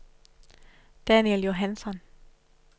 Daniel Johansson